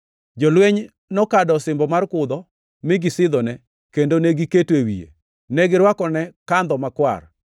Jolweny nokado osimbo mar kudho, mi gisidhone kendo negiketo e wiye. Ne girwakone kandho makwar,